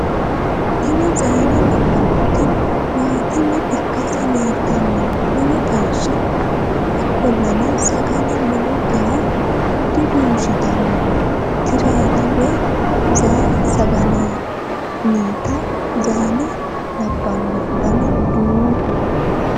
tini zayine labannoti maatime ikkase leeltanno lowo geeshsha ikkollana sagale lowo geya diduushitanno tireeti woy zayi sagalennita zayine labbanno dana duu